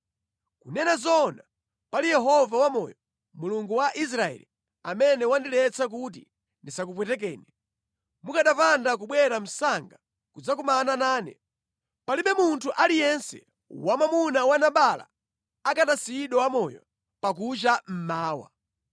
Kunena zoona, pali Yehova Wamoyo, Mulungu wa Israeli, amene wandiletsa kuti ndisakupwetekeni, mukanapanda kubwera msanga kudzakumana nane, palibe munthu aliyense wamwamuna wa Nabala akanasiyidwa wamoyo pakucha mmawa.”